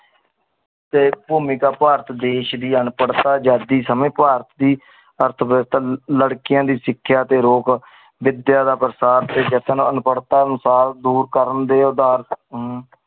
ਤੇ ਭੂਮਿਕਾ ਭਾਰਤ ਦੀ ਸ਼੍ਰੀ ਅਨਪੜਤਾ ਆਜ਼ਾਦੀ ਸਮੇ ਭਾਰਤ ਦੀ ਅਰਥਵਿਵਸਥਾ ਲ ਲੜਕੀਆਂ ਦੀ ਸਿਖਿਆ ਤੇ ਰੋਕ ਵਿਦਿਆ ਦਾ ਪਰ੍ਸਾਤ ਤੇ ਜਤਨ ਅਨਪੜਤਾ ਅਨੁਸਾਰ ਦੂਰ ਕਰਨ ਦੇ